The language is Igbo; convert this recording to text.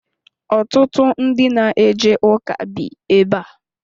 Ọtụtụ ndị na eje ụka bi ebe a.